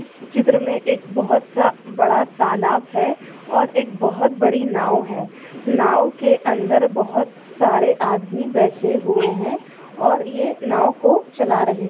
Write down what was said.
इस चित्र में एक बहोत सा बड़ा तालाब है और एक बहोत बड़ी नाव है नाव के अंदर बहोत सारे आदमी बैठे हुए है और ये नाव को चला रहे है।